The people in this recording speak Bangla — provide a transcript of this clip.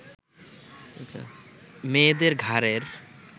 মেয়েদের ঘাড়ের